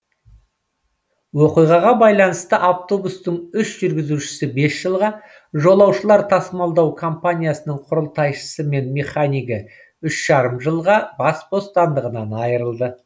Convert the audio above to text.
оқиғаға байланысты автобустың үш жүргізушісі бес жылға жолаушылар тасымалдау компаниясының құрылтайшысы мен механигі үш жарым жылға бас бостандығынан айырылды